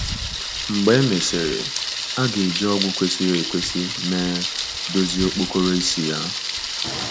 Mgbe e mesịrị, a ga - eji ọgwụ kwesịrị ekwesị mee dozie okpokoro isi ya.